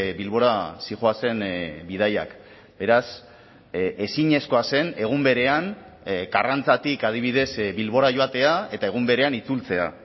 bilbora zihoazen bidaiak beraz ezinezkoa zen egun berean karrantzatik adibidez bilbora joatea eta egun berean itzultzea